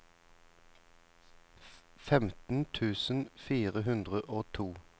femten tusen fire hundre og to